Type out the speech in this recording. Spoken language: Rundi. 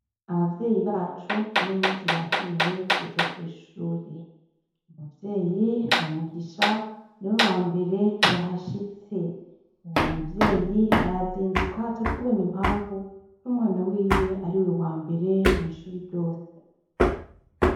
Abavyeyi bacu uyumunsi batumiwe kuza kwishuri umuvyeyi wa mugisha niwe wambere yahashitse uwo muvyeyi arazinduka catubona impavu umwana wiwe ariwe wambere mw'ishure ryose.